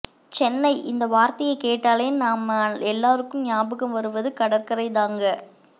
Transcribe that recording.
சென்னை இந்த வார்த்தையைக் கேட்டாலே நம்ம எல்லாருக்கும் ஞாபகம் வருவது கடற்கரை தாங்க